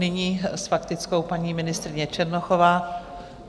Nyní s faktickou paní ministryně Černochová.